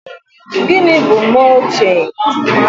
Gịnị bụ mọlching?